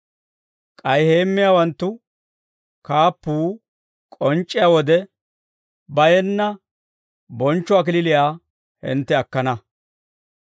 K'ay heemmiyaawanttu kaappuu k'onc'c'iyaa wode, bayenna bonchcho kalachchaa hintte akkana.